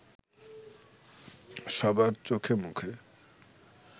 সবার চোখে মুখে